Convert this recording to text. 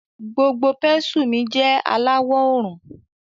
Gbogbo pénsù mi jẹ alawọ òrùn.